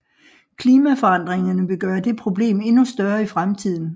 Klimaforandringerne vil gøre det problem endnu større i fremtiden